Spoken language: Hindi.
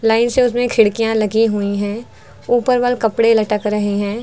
लाइन से उसमें खिड़कियां लगी हुई है ऊपर वल कपड़े लटक रहे हैं।